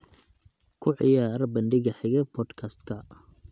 ku ciyaar bandhiga xiga podcast-ka